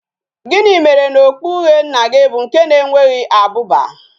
Gini mere na okpu uhie nna gi bu nke na enweghi abuba?